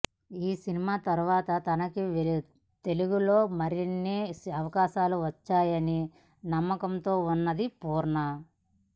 ఈ సినిమా తర్వాత తనకి తెలుగులో మరిన్ని అవకాశాలు వస్తాయనే నమ్మకంతో ఉన్నది పూర్ణ